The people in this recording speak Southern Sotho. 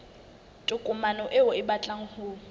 tokomane eo o batlang ho